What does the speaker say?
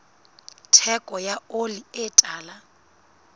theko ya oli e tala